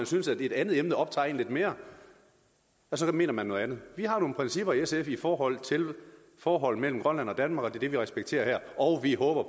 synes at et andet emne optager en lidt mere så mener man noget andet vi har nogle principper i sf i forhold til forholdet mellem grønland og danmark og det vi respekterer her og vi håber